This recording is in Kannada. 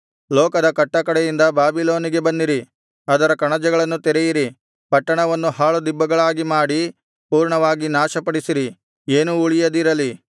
ಲೋಕದ ಕಟ್ಟಕಡೆಯಿಂದ ಬಾಬಿಲೋನಿಗೆ ಬನ್ನಿರಿ ಅದರ ಕಣಜಗಳನ್ನು ತೆರೆಯಿರಿ ಪಟ್ಟಣವನ್ನು ಹಾಳುದಿಬ್ಬಗಳಾಗಿ ಮಾಡಿ ಪೂರ್ಣವಾಗಿ ನಾಶಪಡಿಸಿರಿ ಏನೂ ಉಳಿಯದಿರಲಿ